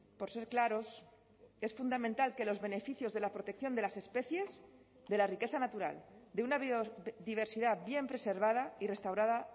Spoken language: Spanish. por ser claros es fundamental que los beneficios de la protección de las especies de la riqueza natural de una biodiversidad bien preservada y restaurada